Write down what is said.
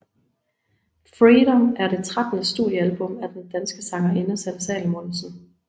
Freedom er det trettende studiealbum af den danske sangerinde Sanne Salomonsen